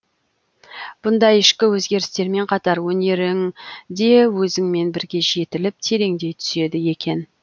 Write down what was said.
бұндай ішкі өзгерістермен қатар өнерің де өзіңмен бірге жетіліп тереңдей түседі екен